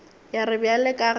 ya re bjale ka ge